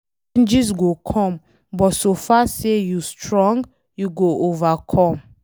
Challenges go come but so far say you strong, you go overcome